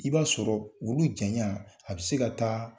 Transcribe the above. I b'a sɔrɔ olu janya a bɛ se ka taa